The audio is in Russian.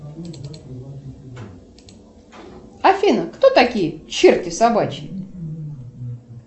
афина кто такие черти собачьи